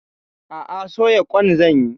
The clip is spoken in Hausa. A'a, soya ƙwan zan yi.